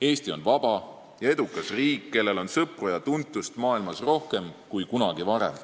Eesti on vaba ja edukas riik, kellel on maailmas sõpru ja tuntust rohkem kui kunagi varem.